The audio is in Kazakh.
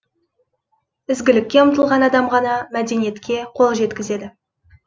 ізгілікке ұмтылған адам ғана мәдениетке қол жеткізеді